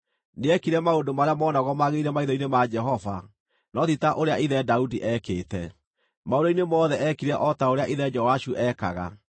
Nĩekire maũndũ marĩa moonagwo magĩrĩire maitho-inĩ ma Jehova, no ti ta ũrĩa ithe Daudi eekĩte. Maũndũ-inĩ mothe eekire o ta ũrĩa ithe Joashu ekaga.